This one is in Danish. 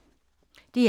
DR1